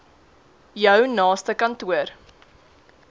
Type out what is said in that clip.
jou naaste kantoor